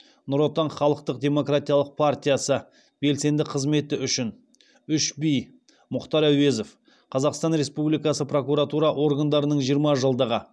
нұр отан халықтық демократиялық партиясы белсенді қызметі үшін үш би мұхтар әуезов қазақстан республикасы прокуратура органдарының жиырма жылдығы